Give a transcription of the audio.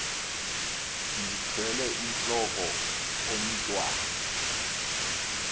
ndithwel intlok omntwan